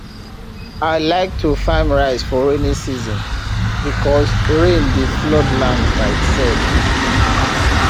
i like to farm rice for rainy season because rain dey flood land by itself